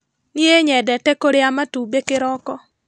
Niĩ nyendete kũrĩa matumbĩ kĩroko.